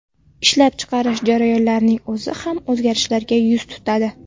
Ishlab chiqarish jarayonlarining o‘zi ham o‘zgarishlarga yuz tutadi.